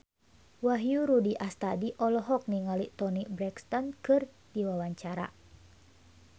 Wahyu Rudi Astadi olohok ningali Toni Brexton keur diwawancara